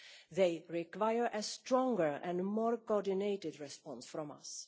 They require a stronger and more coordinated response from us.